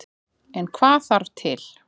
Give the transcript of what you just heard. En hvað þarf til.